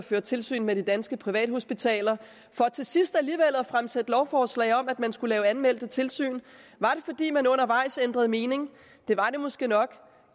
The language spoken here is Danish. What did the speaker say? at føre tilsyn med de danske privathospitaler for til sidst alligevel at fremsætte lovforslag om at man skulle lave anmeldte tilsyn var det fordi man undervejs ændrede mening det var det måske nok